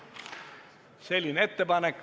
" Selline ettepanek.